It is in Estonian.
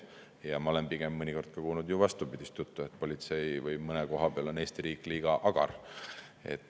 Ja ma olen mõnikord kuulnud just vastupidist juttu, et mõne koha pealt on politsei või Eesti riik liiga agar.